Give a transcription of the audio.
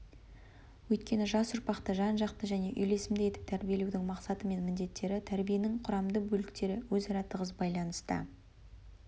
өйткені жас ұрпақты жан жақты және үйлесімді етіп тәрбиелеудің мақсаты мен міндеттері тәрбиенің құрамды бөліктері өзара тығыз байланыста